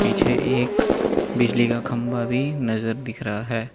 पीछे एक बिजली का खंबा भी नजर दिख रहा है।